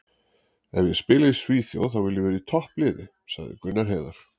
Ef ég spila í Svíþjóð þá vil ég vera í toppliði, sagði Gunnar Heiðar.